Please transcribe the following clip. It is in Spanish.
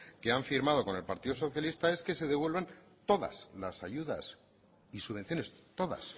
que han firmado con el partido socialista es que se devuelvan todas las ayudas y subvenciones todas